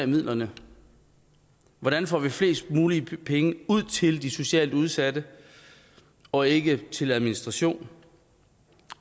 midlerne hvordan får vi flest muligt penge ud til de socialt udsatte og ikke til administration